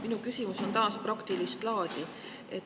Minu küsimus on taas praktilist laadi.